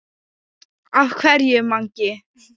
Af hverju Mangi?